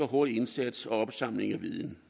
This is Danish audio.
hurtig indsats og opsamling af viden